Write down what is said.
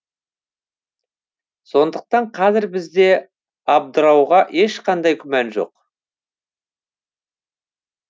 сондықтан қазір бізде абдырауға ешқандай күмән жоқ